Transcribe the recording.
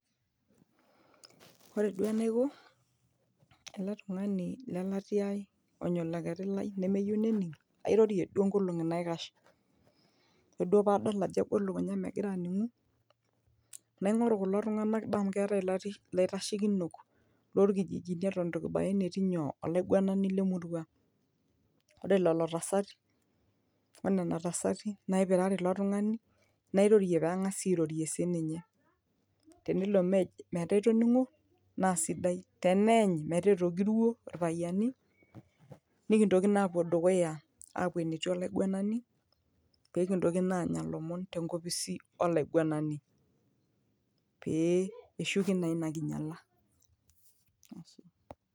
ore duo enaiko ele tung'ani lelatia ai onya olokeri lai nemeyieu nening airorie duo nkolong'i naikash ore duo paadol ajo egol lukunya megira aning'u naing'oru kulo tung'anak daa amu keetae ilaitashekinok lorkijijini eton etu kibaya enetiii nyoo olaiguanani lemurua ore lelo tasati onena tasati naipirare ilo tung'ani nairorie peng'asi airorie sininye tenelo mej metaa etoning'o naa sidai teneeny metaa etogiruo irpayiani nikintoki naa apuo dukuya apuo enetii olaiguanani pekintoki naa anya ilomon tenkopisi olaiguanani pee eshuki naa ina kinyiala ashe.